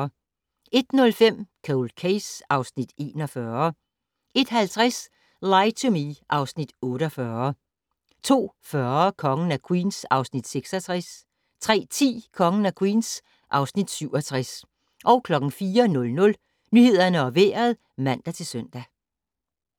01:05: Cold Case (Afs. 41) 01:50: Lie to Me (Afs. 48) 02:40: Kongen af Queens (Afs. 66) 03:10: Kongen af Queens (Afs. 67) 04:00: Nyhederne og Vejret (man-søn)